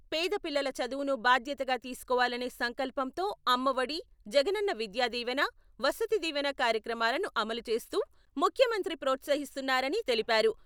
పేద పిల్లల చదువును బాధ్యతగా తీసుకోవాలనే సంకల్పంతో అమ్మ ఒడి, జగనన్న విద్యా దీవెన, వసతి దీవెన కార్యక్రమాలను అమలు చేస్తూ, ముఖ్యమంత్రి ప్రోత్సహిస్తున్నారని తెలిపారు.